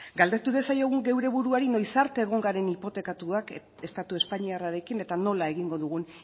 galdetu diezaiogun geure buruari noiz arte egon garen hipotekatuak estatu espainiarrarekin eta nola egingo dugun